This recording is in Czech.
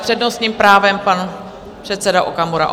S přednostním právem pan předseda Okamura.